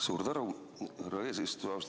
Suur tänu, härra eesistuja!